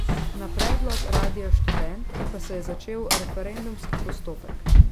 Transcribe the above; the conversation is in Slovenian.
Na predlog Radia Študent pa se je začel referendumski postopek.